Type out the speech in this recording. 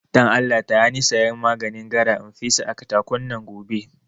Don Allah taya ni sayan maganin gara in fesa a katakon nan gobe